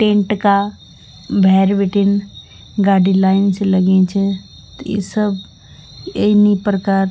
टेंट का भैर बीटिंन गाडी लाइन से लगीं च त इ सब एनी प्रकार --